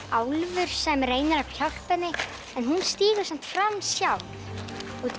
álfur sem reynir að hjálpa henni en hún stígur samt fram sjálf út